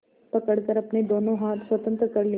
पकड़कर अपने दोनों हाथ स्वतंत्र कर लिए